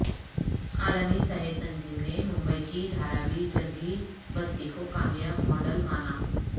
عالمی صحت تنظیم نے ممبئی کی دھاراوی جھگی بستی کو کامیاب ماڈل مانا